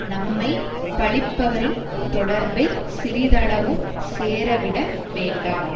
நம்மை பழிப்பவரின் தொடர்பைச் சிறிதளவும் சேரவிட வேண்டா